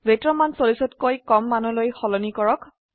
weight ৰ মান 40তকৈ কম মানলৈ সলনি কৰক